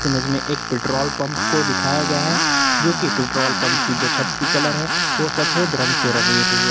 Image में एक petrol pump को दिखाया गया है जो कि पेट्रोल पंप की जो छत की कलर है वो सफेद रंग से रंगी हुई है।